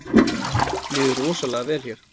Líður rosalega vel hér